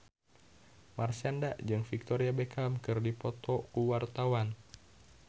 Marshanda jeung Victoria Beckham keur dipoto ku wartawan